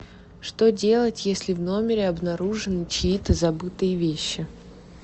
что делать если в номере обнаружены чьи то забытые вещи